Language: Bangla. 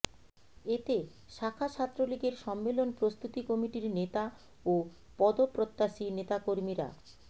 এতে শাখা ছাত্রলীগের সম্মেলন প্রস্তুতি কমিটির নেতা ও পদপ্রত্যাশী নেতাকর্মীরা